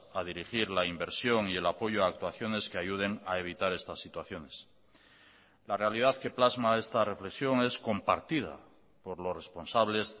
a dirigir la inversión y el apoyo a actuaciones que ayuden a evitar estas situaciones la realidad que plasma esta reflexión es compartida por los responsables